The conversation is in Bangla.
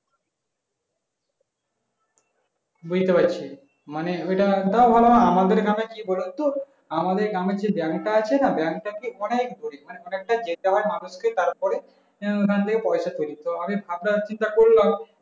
বুঝতে পারছি ওটা একটা ওরা আমাদের গ্রাম এ কি বোলো তো আমাদের গ্রাম আর যে bank তা আছে না bank তা অনেক ধুর অনেকটা যেতে হয় মানুষকে তারপরে ওখান থেকে পয়সা তুলো তো আমি ভাবনা চিন্তা করলাম